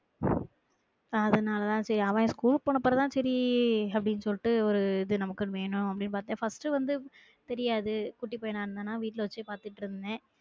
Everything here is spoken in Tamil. அதுனால தான் செரி அவன் ஸ்கூல்க்கு போனதுக்கு பெறகுதான் செரி அப்டின்னு சொல்ட்டு ஒரு இது நமக்குன்னு வேணும் அப்டின்னு பாத்தேன் first உ வந்து தெரியாது குட்டி பையான இருந்ததுனால வீட்டுல வச்சு பாத்துட்டு இருந்தேன்